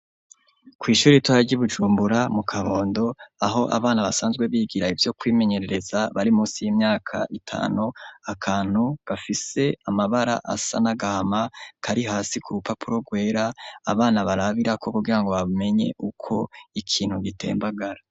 Kw'ishure ritoya ry'Ibujumbura, mu Kabondo, aho abana basanzwe bigira ivyo kwimenyerereza bari musi y'imyaka itanu, akantu gafise amabara asa n'agahama, kari hasi ku rupapuro rwera, abana barabirako kugirango bamenye uko ikintu gitembagara.